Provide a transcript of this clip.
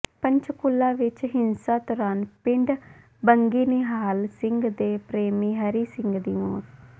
ਪੰਚਕੂਲਾ ਵਿਚ ਹਿੰਸਾ ਦੌਰਾਨ ਪਿੰਡ ਬੰਗੀ ਨਿਹਾਲ ਸਿੰਘ ਦੇ ਪ੍ਰੇਮੀ ਹਰੀ ਸਿੰਘ ਦੀ ਮੌਤ